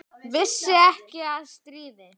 Vissi ekki af stríði.